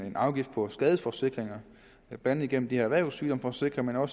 en afgift på skadesforsikringer blandt andet gennem erhvervssygdomsforsikringer